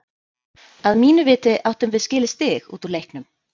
Að mínu viti áttum við skilið stig út úr leiknum.